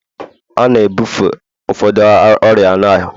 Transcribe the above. A na-ebufe ụfọdụ ọrịa anụ ahụ